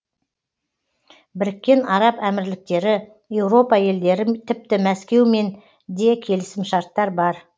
біріккен араб әмірліктері еуропа елдері тіпті мәскеумен де келісімшарттар бар